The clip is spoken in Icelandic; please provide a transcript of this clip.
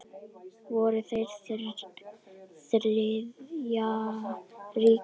Voru þeir Þriðja ríkið?